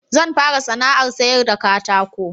Zan fara sana'ar sayar da katako